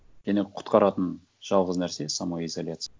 және құтқаратын жалғыз нәрсе самоизоляция